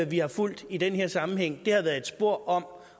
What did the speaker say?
vi har fulgt i den her sammenhæng er et spor om